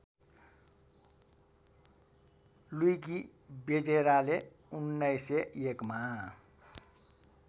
Luigi बेजेराले १९०१ मा